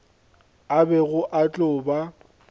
a bego a tlo ba